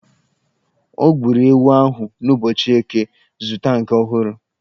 O gburu ewu ahụ n'ụbọchị Eke, zụta nke ọhụrụ!